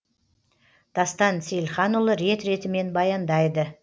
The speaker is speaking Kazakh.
дастан сейілханұлы рет ретімен баяндайды